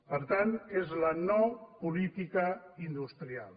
per tant és la no política industrial